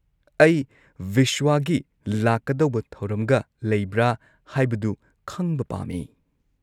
ꯑꯩ ꯕꯤꯁ꯭ꯋꯥꯒꯤ ꯂꯥꯛꯀꯗꯧꯕ ꯊꯧꯔꯝꯒ ꯂꯩꯕ꯭ꯔꯥ ꯍꯥꯏꯕꯗꯨ ꯈꯪꯕ ꯄꯥꯝꯃꯤ꯫